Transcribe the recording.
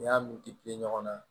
N'i y'a mɛn ɲɔgɔn na